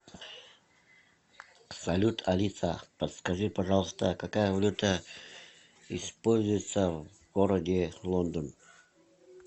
салют алиса подскажи пожалуйста какая валюта используется в городе лондон